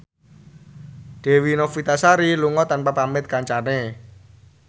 Dewi Novitasari lunga tanpa pamit kancane